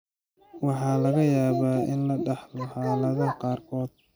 Waxaa laga yaabaa in la dhaxlo xaaladaha qaarkood.